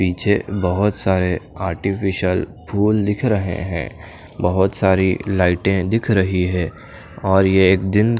पीछे बहोत सारे आर्टिफिशियल फूल दिख रहे हैं बहोत सारी लाइटें दिख रही है और ये दिन--